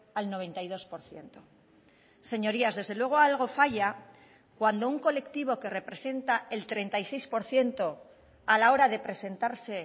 al noventa y dos por ciento señorías desde luego algo falla cuando un colectivo que representa el treinta y seis por ciento a la hora de presentarse